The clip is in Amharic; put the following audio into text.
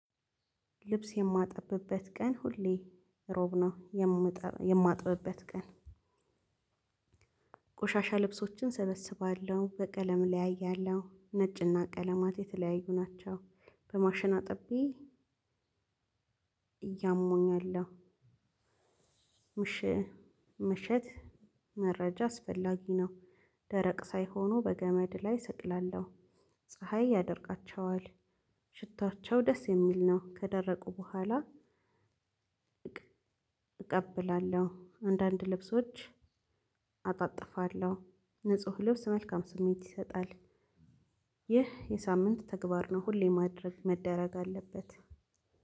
ልብስ የማጥብበት ቀን ሁሌ እሮብ ነው የማጥብበት ቀን። ቆሻሻ ልብሶችን እሰበስባለሁ በቀለም እለያያለሁ ነጭና ቀለማት የተለያዩ ናቸው። በማሽና አጥቤ እያሞኛለሁ። ምሽት መረጃ አስፈላጊ ነው። ደረቅ ሳይሆኑ በገመድ ላይ እሰቅላለሁ። ፀሀይ ያደርቃቸዋል። ሽታቸው ደስ የሚል ነው። ከደረቁ በኋላ። እቀብላለሁ አንዳንድ ልብሶች አጣጥፋለሁ። ንጹህ ልብስ መልካም ስሜት ይሰጣል። ይህ የሳምንት ተግባር ነው። ሁሌ ማድረግ መደረግ አለበት።